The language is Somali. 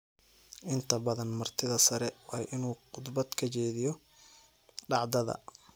Inta badan, martida sare waa in uu khudbad ka jeediyo dhacdada.